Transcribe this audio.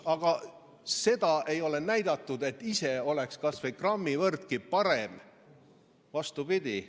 Aga seda ei ole näidatud, et ise oldaks kas või grammi võrragi parem – vastupidi.